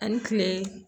Ani kile